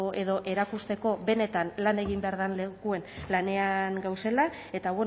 edo erakusteko benetan lan egin behar dan lekuan lanean gauzela eta